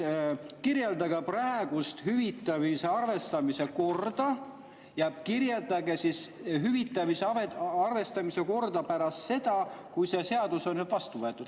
" Kirjeldage praegust hüvitamise arvestamise korda ja kirjeldage hüvitamise arvestamise korda pärast seda, kui see seadus on vastu võetud.